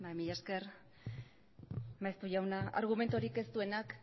mila esker maeztu jauna argumenturik ez duenak